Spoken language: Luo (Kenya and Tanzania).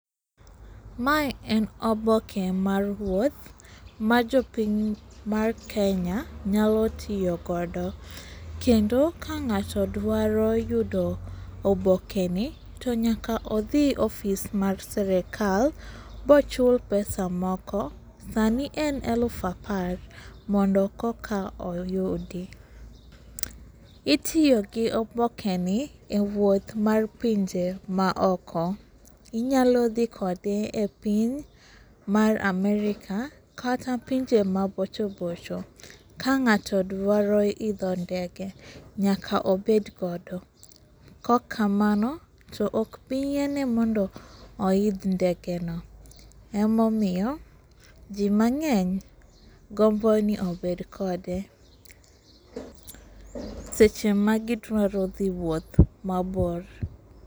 Mae en oboke mar wuoth ma jopiny mar kenya nyalo tiyo godo. Kendo ka ng'ato dwaro yudo obokeni to nyaka odhi ofis mar sirikal mochul pesa moko. Sani en elufu apar mondo koka oyudi. Itiyogi obokeni ewuoth mar pinje ma oko. Inyalo dhi kode epiny mar amerika kata pinje mabocho bocho ka ng'ato dwaro idho ndege nyaka obed godo koka mano to ok biyiene mondo oidh ndegeno. Ema omiyo ji mang'eny gombo ni obed kode seche magi dwaro dhi wuoth ,mabor.